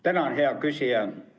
Tänan, hea küsija!